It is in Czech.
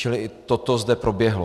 Čili i toto zde proběhlo.